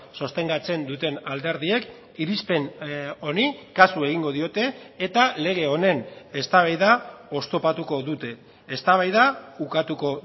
sostengatzen duten alderdiek irizpen honi kasu egingo diote eta lege honen eztabaida oztopatuko dute eztabaida ukatuko